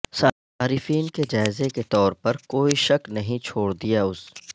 صارفین کے جائزے کے طور پر کوئی شک نہیں چھوڑ دیا اس